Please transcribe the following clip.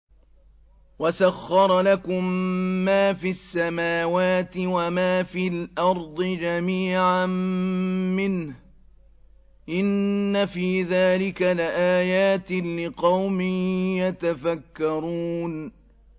وَسَخَّرَ لَكُم مَّا فِي السَّمَاوَاتِ وَمَا فِي الْأَرْضِ جَمِيعًا مِّنْهُ ۚ إِنَّ فِي ذَٰلِكَ لَآيَاتٍ لِّقَوْمٍ يَتَفَكَّرُونَ